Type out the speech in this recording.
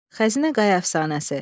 Xəzinə Qaya əfsanəsi.